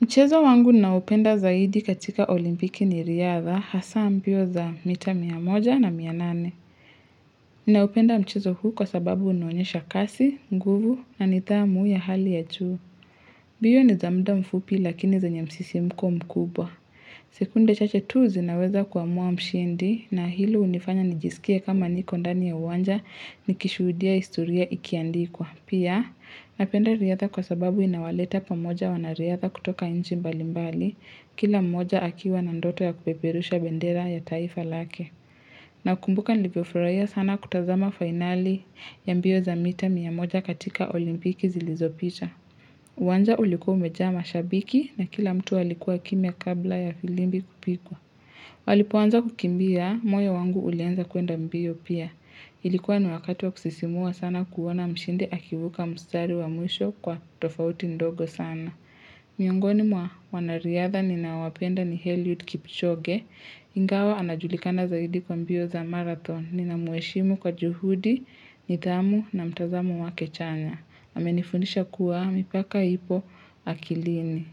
Mchezo wangu naupenda zaidi katika olimpiki ni riadha hasa mbio za mita mia moja na mia nane. Ninaupenda mchezo huu kwa sababu unuonyesha kasi, nguvu na nidhamu ya hali ya juu. Mbio ni za mda mfupi lakini zenye msisimko mkubwa. Sekunde chache tu zinaweza kuamua mshindi na hilo unifanya nijisikie kama niko ndani ya uwanja nikishudia historia ikiandikwa. Pia, napenda riadha kwa sababu inawaleta pamoja wanariadha kutoka inchi mbali mbali, kila mmoja akiwa na ndoto ya kupeperusha bendera ya taifa lake. Na kumbuka nilivyofurahia sana kutazama finali ya mbio za mita mia moja katika olimpiki zilizopita. Wanja ulikuwa mejaa mashabiki na kila mtu alikuwa kimya kabla ya filimbi kupikwa. Walipoanza kukimbia, moyo wangu ulianza kuenda mbio pia. Ilikuwa ni wakati wa kusisimua sana kuona mshindi akivuka mstari wa mwisho kwa tofauti ndogo sana. Miongoni mwa wanariadha ninawapenda ni eliud Kipchoge. Ingawa anajulikana zaidi kwa mbio za marathon ninamweshimu kwa juhudi, nidhamu na mtazamo wake chanya. Amenifundisha kuwa mipaka ipo akilini.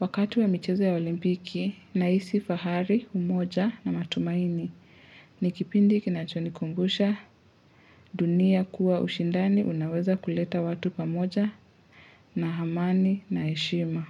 Wakati wa michezo ya olimpiki nahisi fahari umoja na matumaini. Ni kipindi kinachonikumbusha dunia kuwa ushindani unaweza kuleta watu pamoja na amani na heshima.